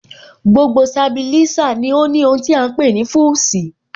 Gbogbo Sabilísà ní ó ní ohun tí à ń pè ní Fúsìì